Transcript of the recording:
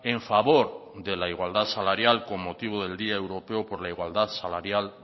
en favor de la igualdad salarial con motivo del día europeo por la igualdad salarial